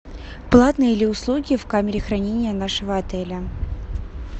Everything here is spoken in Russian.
платные ли услуги в камере хранения нашего отеля